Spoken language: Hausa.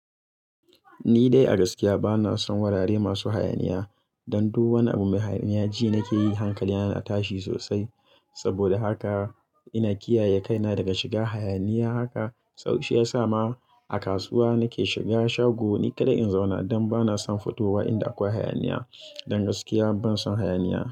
Ni dai a gaskiya bana son wurare masu hayaniya. Dan duk wani abu mai hayaniya ji nakeyi hankalina na tashi sosai. Sabida haka ina kiyaye kaina daga shiga hayaniya haka. So shi yasa ma a kasuwa nake shiga shago ni kadai in zauna dan bana son fitowa inda akwai hayaniya. Dan gaskiya ban son hayaniya.